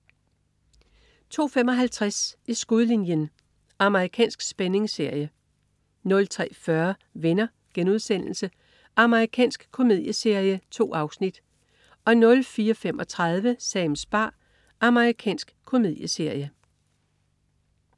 02.55 I skudlinjen. Amerikansk spændingsserie 03.40 Venner.* Amerikansk komedieserie. 2 afsnit 04.35 Sams bar. Amerikansk komedieserie